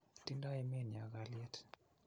tingdoi emenyo kalyet